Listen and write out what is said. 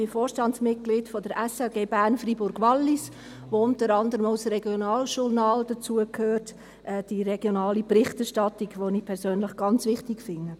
Ich bin Vorstandsmitglied der SRG Bern-Freiburg-Wallis, wozu unter anderem auch das Regionaljournal gehört, die regionale Berichterstattung, die ich persönlich ganz wichtig finde.